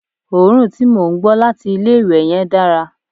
òórùn tí mò ń gbọ́ láti ilé ìwẹ̀ yen dára